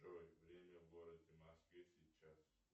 джой время в городе москве сейчас